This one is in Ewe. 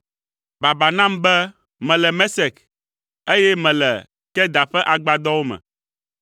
Baba nam be mele Mesek, eye mele Kedar ƒe agbadɔwo me!